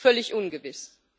Völlig ungewiss.